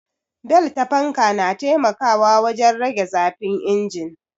Bel ta fanka na taimakawa wajen rage zafin injin